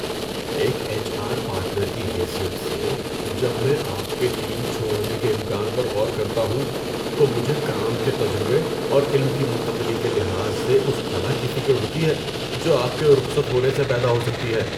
ایک H R partner کی حیثیت سے، جب میں آپ کے ٹیم چھوڑنے کے امکان پر غور کرتا ہوں، تو مجھے کام کے تجربے اور علم کی منتقلی کے لحاظ سے اس خلا کی فکر ہوتی ہے جو آپ کے رخصت ہونے سے پیدا ہو سکتی ہے۔